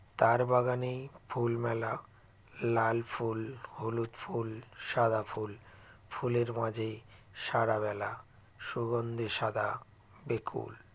তার বাগানেই ফুল মেলা লাল ফুল হলুদ ফুল সাদা ফুল ফুলের মাঝে সারা বেলা সুগন্ধে সাদা বেকুল